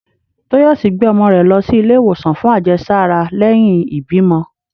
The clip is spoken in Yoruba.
Toyòsí gbé omò re lo sí ìlé iwosan fún àjésárá leyin ìbímo